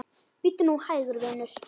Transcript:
Bíddu nú hægur, vinur.